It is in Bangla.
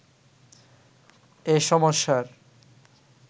এ সমস্যার